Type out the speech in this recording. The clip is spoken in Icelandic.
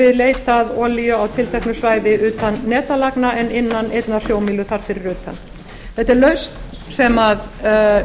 við leit að olíu á tilteknu svæði utan netlagna en innan einnar sjómílu þar fyrir utan þetta er lausn sem